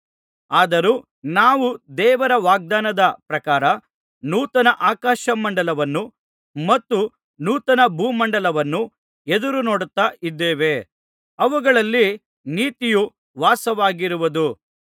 ಆದರೂ ನಾವು ದೇವರ ವಾಗ್ದಾನದ ಪ್ರಕಾರ ನೂತನ ಆಕಾಶ ಮಂಡಲವನ್ನೂ ಮತ್ತು ನೂತನ ಭೂಮಂಡಲವನ್ನೂ ಎದುರುನೋಡುತ್ತಾ ಇದ್ದೇವೆ ಅವುಗಳಲ್ಲಿ ನೀತಿಯು ವಾಸವಾಗಿರುವುದು